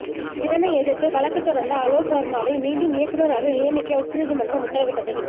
இதனை எதிர்த்து வழக்குத் தொடர்ந்த அலோக் வர்மாவை மீண்டும் இயக்குனராக நியமிக்க உச்ச நீதிமன்றம் உத்தரவிட்டது